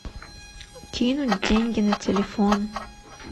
кинуть деньги на телефон